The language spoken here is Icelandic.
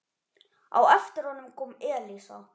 Á eftir honum kom Elísa.